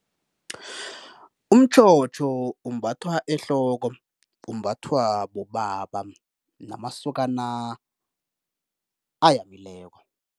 Umtjhotjho umbathwa ehloko, umbathwa bobaba namasokana ayamileko.